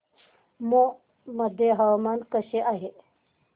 मौ मध्ये हवामान कसे आहे